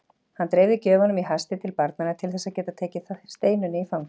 Hann dreifði gjöfunum í hasti til barnanna til þess að geta tekið Steinunni í fangið.